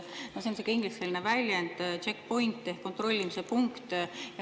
See on sihuke ingliskeelne väljend check point ehk kontrollpunkt.